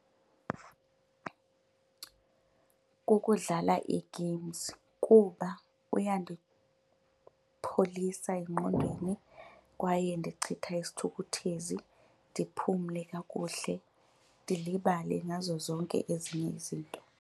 Kukudlala ii-games kuba kuyandipholisa engqondweni kwaye ndichitha isithukuthezi ndiphumle kakuhle ndilibale ngazo zonke ezinye izinto.